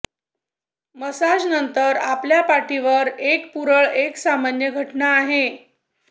massage नंतर आपल्या पाठीवर एक पुरळ एक सामान्य घटना आहे